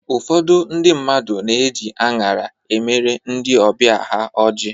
Ụfọdụ ndị mmadụ na-eji anyara e mere ndị ọbịa ha ọjị